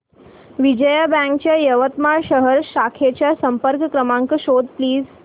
Vijaya bank च्या यवतमाळ शहर शाखेचा संपर्क क्रमांक शोध प्लीज